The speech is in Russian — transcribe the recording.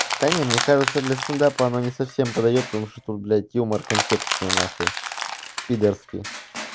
да мне кажется для стендапа оно не совсем подойдёт потому что тут блядь юмор контекстный на хуй пидорский